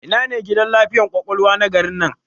Ina ne gidan lafiyar ƙwaƙwalwa na garin nan?